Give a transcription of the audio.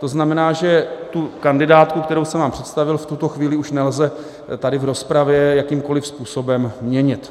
To znamená, že tu kandidátku, kterou jsem vám představil, v tuto chvíli už nelze tady v rozpravě jakýmkoliv způsobem měnit.